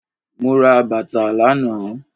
Mo ra bàtà lànáà